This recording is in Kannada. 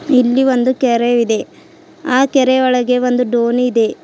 ಇಲ್ಲಿ ಒಂದು ಕೆರೆ ಇದೆ ಆ ಕೆರೆ ಒಳಗೆ ಒಂದು ದೋಣಿ ಇದೆ.